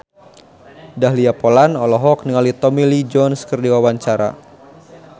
Dahlia Poland olohok ningali Tommy Lee Jones keur diwawancara